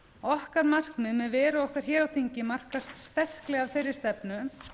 okkar markmið með veru okkar hér á þingi markast sterklega af þeirri stefnu